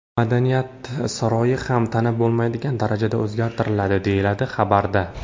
Madaniyat saroyi ham tanib bo‘lmaydigan darajada o‘zgartiriladi, deyiladi xabarda.